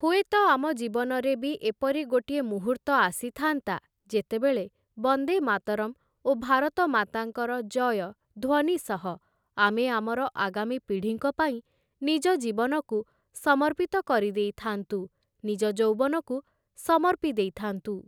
ହୁଏତ ଆମ ଜୀବନରେ ବି ଏପରି ଗୋଟିଏ ମୁହୂର୍ତ୍ତ ଆସିଥାଆନ୍ତା, ଯେତେବେଳେ "ବନ୍ଦେ ମାତରମ୍" ଓ "ଭାରତମାତାଙ୍କର ଜୟ" ଧ୍ୱନି ସହ ଆମେ ଆମର ଆଗାମୀ ପିଢ଼ିଙ୍କ ପାଇଁ ନିଜ ଜୀବନକୁ ସମର୍ପିତ କରିଦେଇଥାଆନ୍ତୁ, ନିଜ ଯୌବନକୁ ସମର୍ପି ଦେଇଥାଆନ୍ତୁ ।